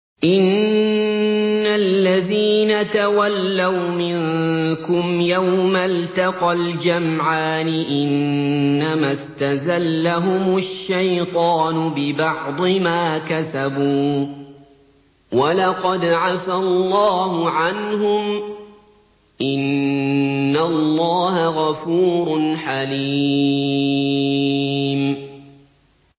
إِنَّ الَّذِينَ تَوَلَّوْا مِنكُمْ يَوْمَ الْتَقَى الْجَمْعَانِ إِنَّمَا اسْتَزَلَّهُمُ الشَّيْطَانُ بِبَعْضِ مَا كَسَبُوا ۖ وَلَقَدْ عَفَا اللَّهُ عَنْهُمْ ۗ إِنَّ اللَّهَ غَفُورٌ حَلِيمٌ